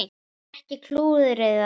Enn eitt klúðrið þar!